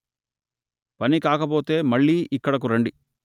పని కాకపోతే మళ్ళీ ఇక్కడకు రండి